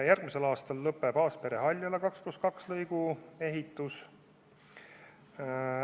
Järgmisel aastal lõpeb Aaspere–Haljala 2 + 2 lõigu ehitus.